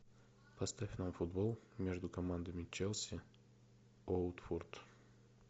поставь нам футбол между командами челси уотфорд